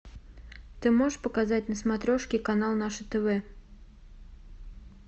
ты можешь показать на смотрешке канал наше тв